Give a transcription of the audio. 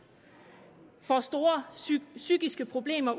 og får store psykiske problemer